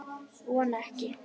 Vona ekki.